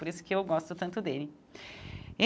Por isso que eu gosto tanto dele.